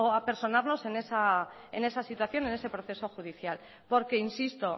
a personarnos en esa situación en ese proceso judicial porque insisto